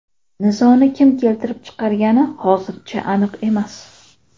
Nizoni kim keltirib chiqargani hozircha aniq emas.